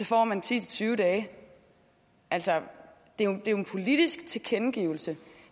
får man ti til tyve dage altså det er jo en politisk tilkendegivelse